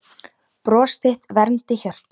Bros þitt vermdi hjörtu.